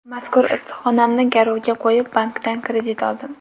Mazkur issiqxonamni garovga qo‘yib, bankdan kredit oldim.